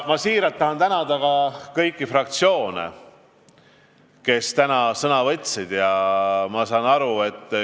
Tahan südamest tänada ka kõiki fraktsioone, kelle esindajad täna sõna võtsid.